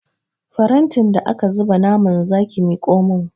Farantin da aka zuba naman zaki miƙo min!